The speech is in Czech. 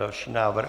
Další návrh.